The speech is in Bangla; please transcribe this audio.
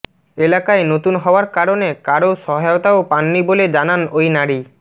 এলাকায় নতুন হওয়ার কারণে কারও সহায়তাও পাননি বলে জানান ওই নারী